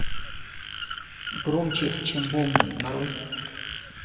громче чем бомбы нарой